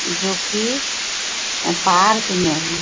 जो की पार्क में है।